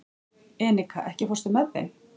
Enika, ekki fórstu með þeim?